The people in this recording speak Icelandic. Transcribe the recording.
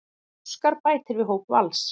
Óskar bætir við hóp Vals